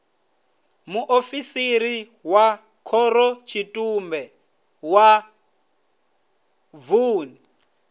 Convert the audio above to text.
muofisiri wa khorotshitumbe wa vun